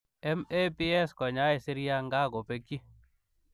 MABs konyai siryaa ngaa kopekchii